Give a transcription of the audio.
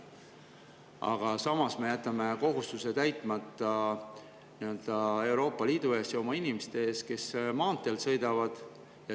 Aga samas me jätame täitmata kohustuse Euroopa Liidu ees ja oma inimeste ees, kes nendel maanteedel sõidavad.